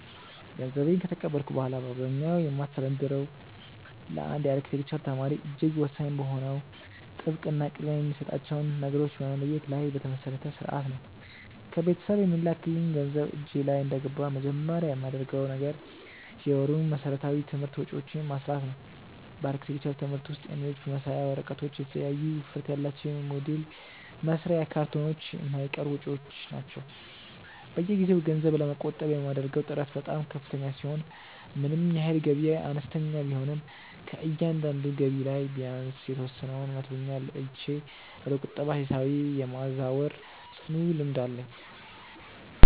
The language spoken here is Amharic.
ገንዘቤን ከተቀበልኩ በኋላ በአብዛኛው የማስተዳድረው ለአንድ የአርክቴክቸር ተማሪ እጅግ ወሳኝ በሆነው ጥብቅ እና ቅድሚያ የሚሰጣቸውን ነገሮች በመለየት ላይ በተመሰረተ ሥርዓት ነው። ከቤተሰብ የሚላክልኝ ገንዘብ እጄ ላይ እንደገባ መጀመሪያ የማደርገው ነገር የወሩን መሠረታዊ የትምህርት ወጪዎቼን ማስላት ነው። በአርክቴክቸር ትምህርት ውስጥ የንድፍ መሳያ ወረቀቶች፣ የተለያዩ ውፍረት ያላቸው የሞዴል መስሪያ ካርቶኖች የማይቀሩ ወጪዎች ናቸው። በየጊዜው ገንዘብ ለመቆጠብ የማደርገው ጥረት በጣም ከፍተኛ ሲሆን ምንም ያህል ገቢዬ አነስተኛ ቢሆንም ከእያንዳንዱ ገቢ ላይ ቢያንስ የተወሰነውን መቶኛ ለይቼ ወደ ቁጠባ ሂሳቤ የማዛወር ጽኑ ልምድ አለኝ።